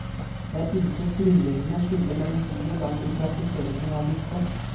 Det er intet grunnleggende skille mellom by og land i praktiseringen av disse.